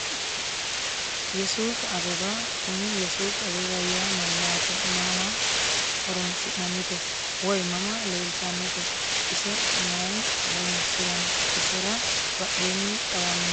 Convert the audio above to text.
Ye suufi abeba kuni yesuufi abeba yaa mayaate mama horonsinanite woyi mama leeltanote ise mayi horonsiranno isera badheeni xawani noori maati.